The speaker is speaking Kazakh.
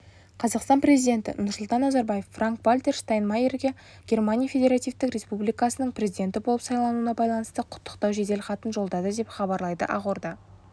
қазақстан президенті нұрсұлтан назарбаев франк-вальтер штайнмайерге германия федеративтік республикасының президенті болып сайлануына байланысты құттықтау жеделхатын жолдады деп хабарлайды ақорда